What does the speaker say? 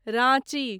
Ranchi